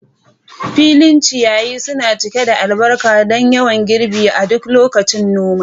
filin ciyayi suna cike da albarka don yawan girbi a duk lokacin noma.